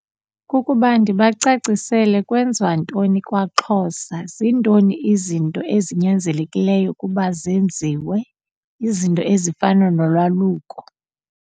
Kukuba ndibacacisele kwenziwa ntoni kwaXhosa, zintoni izinto ezinyanzelekileyo ukuba zenziwe, izinto ezifana nolwaluko.